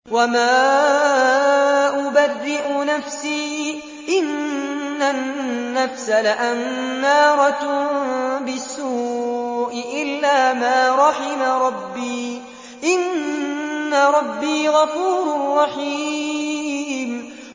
۞ وَمَا أُبَرِّئُ نَفْسِي ۚ إِنَّ النَّفْسَ لَأَمَّارَةٌ بِالسُّوءِ إِلَّا مَا رَحِمَ رَبِّي ۚ إِنَّ رَبِّي غَفُورٌ رَّحِيمٌ